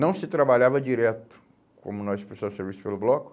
Não se trabalhava direto, como nós precisávamos de serviço pelo bloco.